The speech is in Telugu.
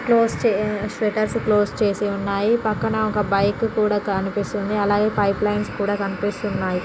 క్లోస్ చేసి షట్టర్స్ క్లోస్ చేసి ఉన్నాయి . పక్కన ఒక బైక్ కూడా కనిపిస్తుంది. అలాగే పైప్ లైన్స్ కూడా కనిపిస్తూ ఉన్నాయ్.